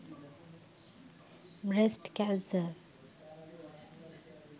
brest canser